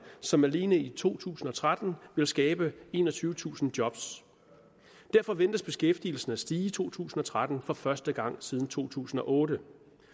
som alene i to tusind og tretten vil skabe enogtyvetusind job derfor ventes beskæftigelsen at stige i to tusind og tretten for første gang siden to tusind og otte